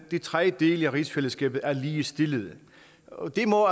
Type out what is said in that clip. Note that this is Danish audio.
de tre dele af rigsfællesskabet er ligestillet og det må